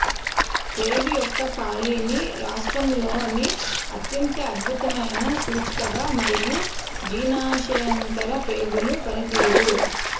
ప్రేగు యొక్క ఖాళీని రాష్ట్రంలోని అత్యంత అద్భుతమైన సూచికగా మరియు జీర్ణశయాంతర ప్రేగుల పనితీరు